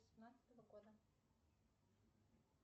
семнадцатого года